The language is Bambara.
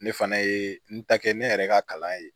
Ne fana ye n ta kɛ ne yɛrɛ ka kalan ye